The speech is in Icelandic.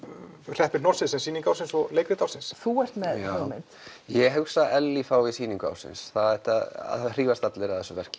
hreppir hnossið sem sýning ársins og leikrit ársins þú ert með hugmynd ég hugsa að Ellý fái sýningu ársins það hrífast allir að þessu verki